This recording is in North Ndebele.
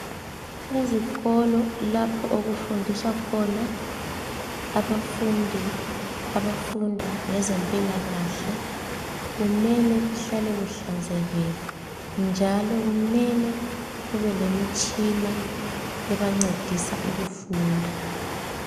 Ezikolo kulapho okufunduselwa khona abafundi abafunda ngezempilakahle kumele kuhlale kuhlanzekile njalo kumele kuhlale kulemitshina ebancedisayo ukufunda